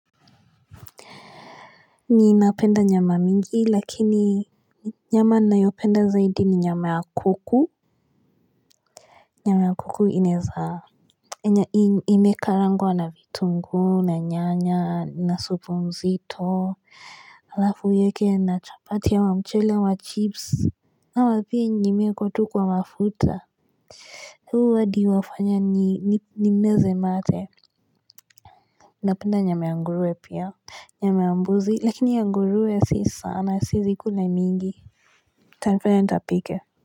Ninapenda nyama mingi lakini nyama ninayopenda zaidi ni nyama ya kuku Nyama ya kuku inezaa ime karangwa na vitungu na nyanya na supu nzito alafu uiweke na chapati ama mchele wa chips ama pia yenye imewekwa tu mafuta huu hadi wafanya ni meze mate napenda nyama ya ngurwe pia Nyama ambuzi lakini ya ngurwe si sana siezi kula mingi itanifanya nitapike.